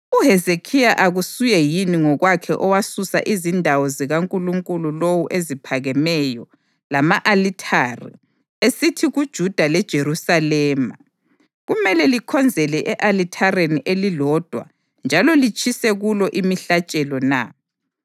UHezekhiya akasuye yini ngokwakhe owasusa izindawo zikankulunkulu lowu eziphakemeyo lama-alithare, esithi kuJuda leJerusalema, ‘Kumele likhonzele e-alithareni elilodwa njalo litshisele kulo imihlatshelo na’?